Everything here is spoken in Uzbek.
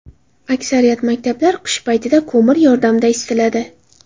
Aksariyat maktablar qish paytida ko‘mir yordamida isitiladi.